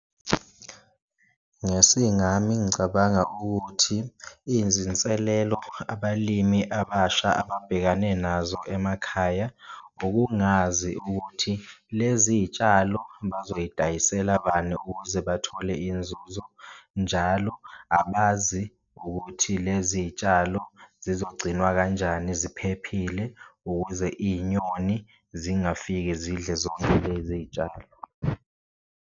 Ngesingami ngicabanga ukuthi izinselelo abalimi abasha ababhekane nazo emakhaya ukungazi ukuthi lezi yitshalo bazoyidayisela bani ukuze bathole inzuzo, njalo abazi ukuthi lezi y'tshalo zizogcinwa kanjani ziphephile ukuze iy'nyoni zingafike zidle zonke lezi y'tshalo.